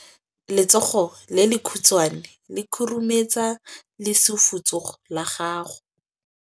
Letsogo le lekhutshwane le khurumetsa lesufutsogo la gago.